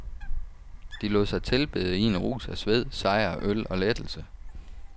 De lod sig tilbede i en rus af sved, sejr, øl og lettelse.